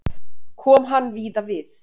Kom hann víða við.